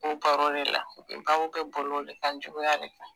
M'o baro le la, kɛ kan juguya le kan